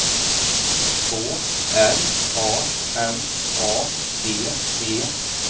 K R A M A D E